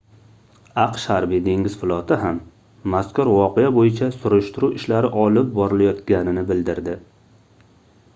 aqsh harbiy-dengiz floti ham mazkur voqea boʻyicha surishtiruv ishlari olib borilayotganini bildirdi